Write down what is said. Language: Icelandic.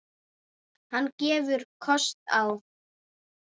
Hann gefur kost á